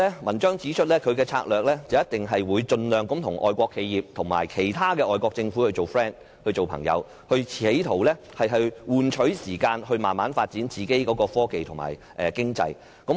文章指出，中國的策略一定會盡量與外國企業及其他外國政府表示友好，企圖換取時間來慢慢發展本身的科技及經濟。